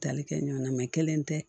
Tali kɛ ɲɔgɔn na kelen tɛ